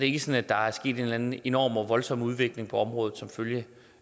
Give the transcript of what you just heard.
ikke sådan at der er sket en enorm og voldsom udvikling på området som følge